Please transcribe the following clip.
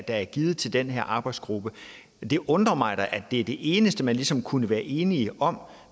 er givet til den her arbejdsgruppe det undrer mig da at det er det eneste man ligesom kunne være enige om